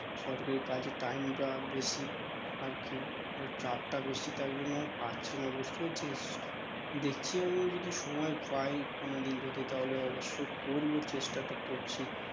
সরকারি কাজে time টা বেশি আরকি আর চাপটা বেশি তাই জন্য আর পারছিনা বুঝতে পেরেছিস দেখি আমি যদি সময় পাই কোনোদিন যদি তাহলে অবশ্যই করবো চেষ্টাটা করছি